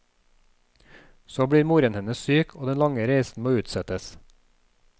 Så blir moren hennes syk, og den lange reisen må utsettes.